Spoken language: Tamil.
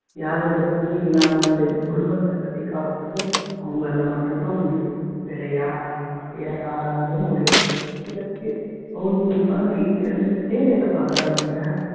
யாரோட துணையும் இல்லாம அந்த குடும்பத்த கட்டி காக்கறது அவங்களால மட்டும்தான் முடியும் வேற யாராலையும் வேற யாராலையும் முடியாது சில பேர் house wife அ வீட்டுல இருந்துக்கிட்டே வேலை பாக்குறாங்கங்க